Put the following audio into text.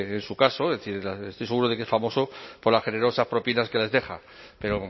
en su caso estoy seguro de que es famoso por las generosas propinas que les deja pero